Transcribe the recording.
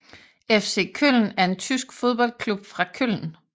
FC Köln er en tysk fodboldklub fra Köln